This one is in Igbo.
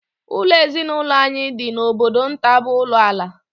Ụlọ ezinụlọ anyị dị n'obodo nta bụ ulo ala